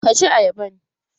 Ka ci ayaban!